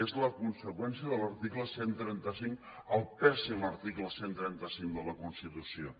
és la conseqüència de l’article cent i trenta cinc el pèssim article cent i trenta cinc de la constitució